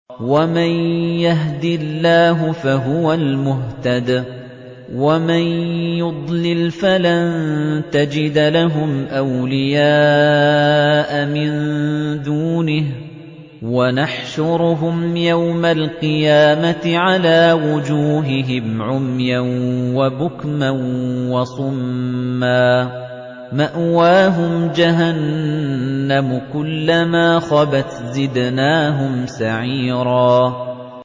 وَمَن يَهْدِ اللَّهُ فَهُوَ الْمُهْتَدِ ۖ وَمَن يُضْلِلْ فَلَن تَجِدَ لَهُمْ أَوْلِيَاءَ مِن دُونِهِ ۖ وَنَحْشُرُهُمْ يَوْمَ الْقِيَامَةِ عَلَىٰ وُجُوهِهِمْ عُمْيًا وَبُكْمًا وَصُمًّا ۖ مَّأْوَاهُمْ جَهَنَّمُ ۖ كُلَّمَا خَبَتْ زِدْنَاهُمْ سَعِيرًا